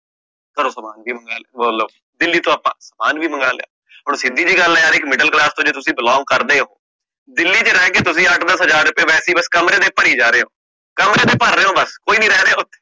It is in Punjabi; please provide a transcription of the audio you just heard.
ਸਮਾਨ ਵੀ ਮਗਾ ਲਿਆ ਲਓ, ਦਿੱਲੀ ਤੋਂ ਆਪਾ ਸਮਾਨ ਵੀ ਮੰਗਾ ਲਿਆ, ਸਿਧਿ ਜੀ ਗੱਲ ਆ ਯਰ ਜੇ ਇਕ middle class ਤੋਂ ਤੁਸੀਂ belong ਕਰਦੇ ਹੋ, ਦਿੱਲੀ ਚ ਰਹਿ ਕ ਤੁਸੀਂ ਅੱਠ ਦਸ ਹਜਾਰ ਰੁਪੈ ਵਾਸੇ ਹੀ ਬਸ ਕਮਰੇ ਦੇ ਭਾਰੀ ਜਾਰੇ ਹੋ, ਭਰ ਰੇ ਹੋ ਬਸ ਕੋਈ ਨੀ ਰਹਿ ਰਿਹਾ ਓਥੇ